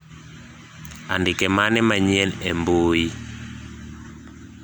andike mane manyien e mbui